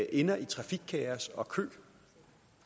ender i trafikkaos og køer